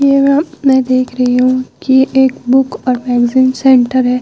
यहाँ मैं देख रही हूँ कि एक बुक और मैगज़ीन सेंटर है।